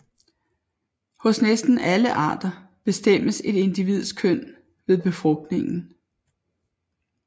Hos næsten alle arter bestemmes et individs køn ved befrugtningen